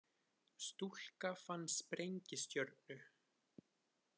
Stúlka fann sprengistjörnu